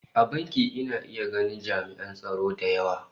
A bankin ina iya ganin ami'an tsaro da yawa